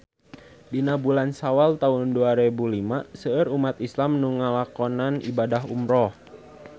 Dina bulan Sawal taun dua rebu lima seueur umat islam nu ngalakonan ibadah umrah